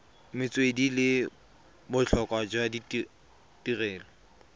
metswedi le botlhokwa jwa tirelo